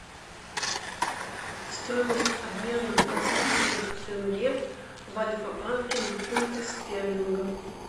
стоимость обмена казахских тенге в альфа банке на фунты стерлинга